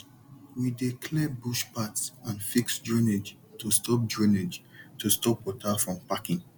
we dey clear bush path and fix drainage to stop drainage to stop water from packing